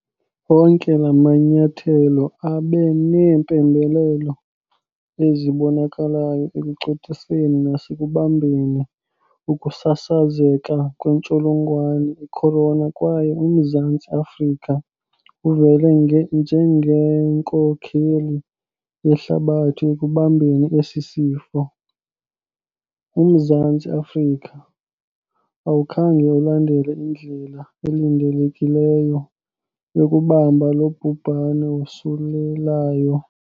Onke la manyathelo abe neempembelelo ezibonakalayo ekucothiseni nasekubambeni ukusasazeka kwentsholongwane ikhorona kwaye uMzantsi Afrika uvele njengenkokheli yehlabathi ekubambeni esi sifo. UMzantsi Afrika, awukhange ulandele indlela elindelekileyo yokubamba lo bhubhane wosulelayo.